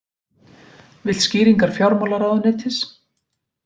Vill skýringar fjármálaráðuneytis